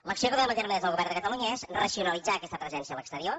l’acció que duem a terme des del govern de catalunya és racionalitzar aquesta presència a l’exterior